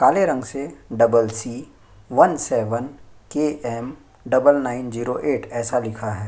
काले रंग से double C one seven KM double nine zero eight ऐसा लिखा है।